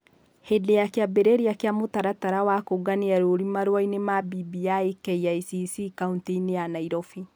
Hĩndĩ ya kĩambĩrĩria kĩa mũtaratara wa kũũngania rũũri marũa-inĩ ma BBI KICC kauntĩ -inĩ ya Nairobi.